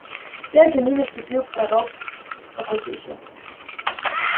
вслед за ним ступил порог какой-то ещё